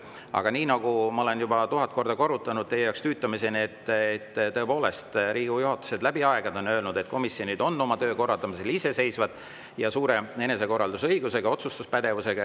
Aga nagu ma olen juba tuhat korda, teie jaoks tüütuseni korranud: Riigikogu juhatus on läbi aegade öelnud, et komisjonid on oma töö korraldamisel iseseisvad, suure enesekorraldusõiguse ja otsustuspädevusega.